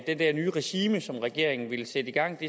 det der nye regime som regeringen ville sætte gang